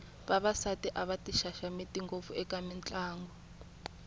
vavasati a va ti xaxameti ngopfu eka mitlangu